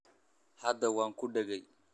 Hadda waan ku dhegay